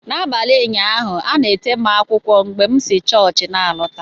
N'abalị ụnyaahụ, a na-ete m akwụkwọ mgbe m si chọọchị na-alọta.